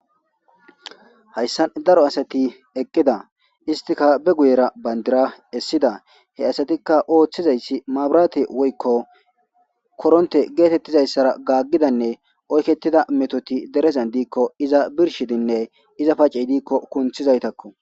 Hayssa daro asati eqqida istika be guyera bayndira essida he asatikka ooththizayssi maabiraate woykko koronte geetettizayssara gaaggidanne oykettida metoti derezan diikko iza birshidinne iza pacey diikko kunthizaytakko.